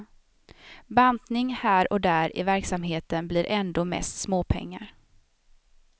Bantning här och där i verksamheten blir ändå mest småpengar.